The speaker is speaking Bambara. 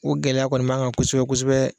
O gɛlɛya kɔni b'a kan kosɛbɛ kosɛbɛ.